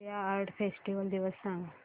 India art festival दिवस सांग